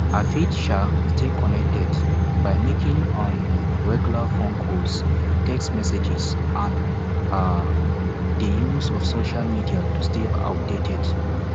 i fit um stay connected by making um regular phone calls text messages and um di use of social media to stay updated